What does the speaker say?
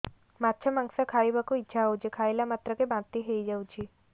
ମାଛ ମାଂସ ଖାଇ ବାକୁ ଇଚ୍ଛା ହଉଛି ଖାଇଲା ମାତ୍ରକେ ବାନ୍ତି ହେଇଯାଉଛି